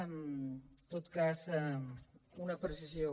en tot cas una precisió